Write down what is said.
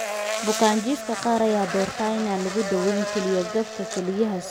Bukaanjiifka qaar ayaa doorta in aan lagu daweyn kelyo-gabka kelyaha sifeynta ama beddelka.